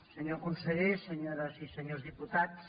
senyor conseller senyores i senyors diputats